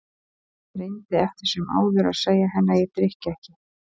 Ég reyndi eftir sem áður að segja henni að ég drykki ekki.